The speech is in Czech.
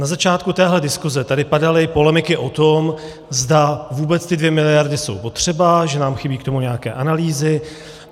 Na začátku téhle diskuse tady padaly polemiky o tom, zda vůbec ty dvě miliardy jsou potřeba, že nám chybí k tomu nějaké analýzy.